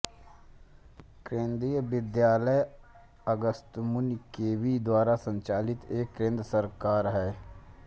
केन्द्रीय विद्यालय अगस्त्यमुनि केवी द्वारा संचालित एक केंद्र सरकार है